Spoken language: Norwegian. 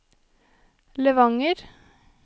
Levanger